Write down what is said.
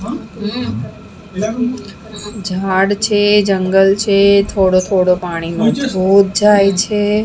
ઝાડ છે જંગલ છે થોડો થોડો પાણીનો ધોધ જાય છે.